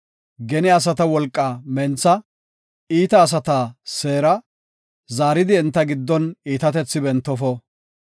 Gene asata wolqaa mentha; iita asata seera; zaaridi enta giddon iitatethi bentofo.